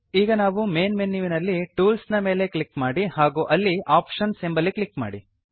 ಈಗ ನಾವು ಮೇನ್ ಮೆನ್ಯುವಿನಲ್ಲಿ ಟೂಲ್ಸ್ ನ ಮೇಲೆ ಕ್ಲಿಕ್ ಮಾಡಿ ಹಾಗೂ ಅಲ್ಲಿ ಆಪ್ಷನ್ಸ್ ಎಂಬಲ್ಲಿ ಕ್ಲಿಕ್ ಮಾಡಿ